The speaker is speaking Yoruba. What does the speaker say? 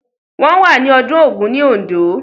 Wọ́n wà ní ọdún Ògún ní Oǹdó.